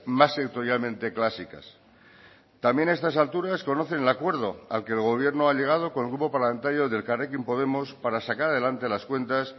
más sectorialmente clásicas también a estas alturas conocen el acuerdo al que el gobierno ha llegado con el grupo parlamentario de elkarrekin podemos para sacar adelante las cuentas